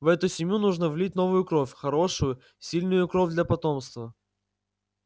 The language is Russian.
в эту семью нужно влить новую кровь хорошую сильную кровь для потомства